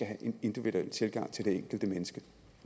have en individuel tilgang til det enkelte menneske